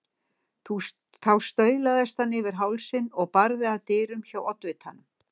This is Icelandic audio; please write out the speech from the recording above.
Þá staulaðist hann yfir hálsinn og barði að dyrum hjá oddvitanum.